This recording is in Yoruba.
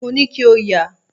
Mo ní kí o yà.